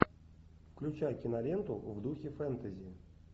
включай киноленту в духе фэнтези